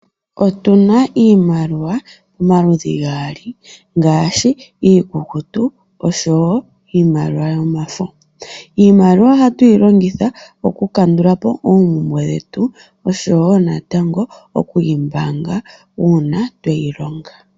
Otuna iimaliwa pamaludhi gaali ngaashi iikukutu, osho wo iimaliwa yomafo. Iimaliwa ohayi longithwa okukandula po oompumbwe daantu, osho wo natango okuyi mbaanga ngele ya longwa.